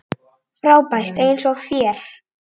Frábær eins og þér.